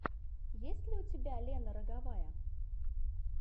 есть ли у тебя лена роговая